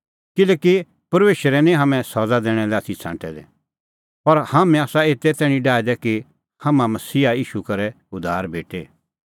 किल्हैकि परमेशरै निं हाम्हैं सज़ा दैणा लै आथी छ़ांटै दै पर हाम्हैं आसा एते तैणीं डाहै दै कि हाम्हां मसीहा ईशू करै उद्धार भेटे